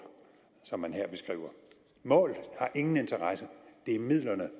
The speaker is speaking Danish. som man her beskriver mål har ingen interesse det er midlerne